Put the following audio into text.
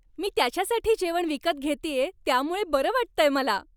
मी त्याच्यासाठी जेवण विकत घेतेय त्यामुळं बरं वाटतंय मला.